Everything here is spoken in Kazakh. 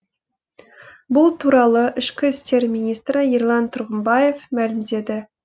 бұл туралы ішкі істер министрі ерлан тұрғымбаев мәлімдеді